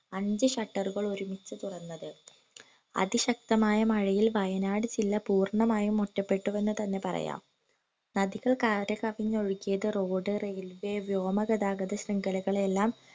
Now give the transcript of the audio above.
അഞ്ച് shutter ഉകൾ ഒരുമിച്ചു തുറന്നത് അതി ശക്തമായ മഴയിൽ വയനാട് ജില്ലാ പൂർണമായി ഒറ്റപെട്ടുവെന്ന് തന്നെ പറയാം നദികൾ കര കവിഞ്ഞു ഒഴുകിയത് road railway വ്യോമ ഗാതാഗത ശൃംഖലകളെ എല്ലാം